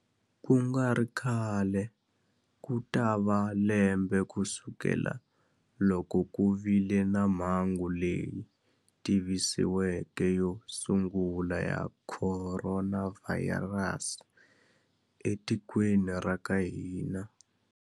Ku nga ri khale ku ta va lembe kusukela loko ku vile na mhangu leyi tivisiweke yo sungula ya khoronavhayirasi etikweni ra ka hina.